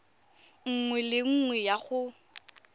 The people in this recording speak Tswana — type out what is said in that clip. nngwe le nngwe ya go